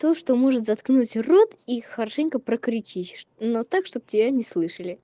то что может заткнуть рот и хорошенько про кричись но так чтобы тебя не слышали